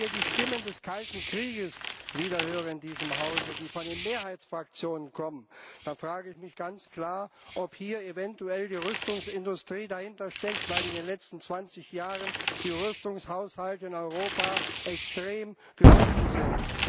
Wenn ich hier in diesem Hause die Stimmen des Kalten Krieges wieder höre, die von den Mehrheitsfraktionen kommen, frage ich mich ganz klar, ob hier eventuell die Rüstungsindustrie dahintersteckt, weil in den letzten 20 Jahren die Rüstungshaushalte in Europa extrem gesunken sind.